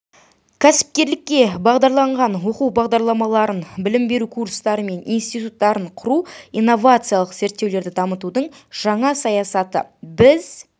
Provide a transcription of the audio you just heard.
кәсіпкерлікке бағдарланған оқу бағдарламаларын білім беру курстары мен институттарын құру инновациялық зерттеулерді дамытудың жаңа саясаты біз